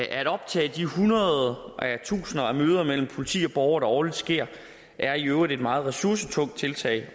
at optage de hundreder og tusinder af møder mellem politi og borgere der årligt sker er i øvrigt et meget ressourcetungt tiltag at